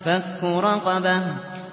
فَكُّ رَقَبَةٍ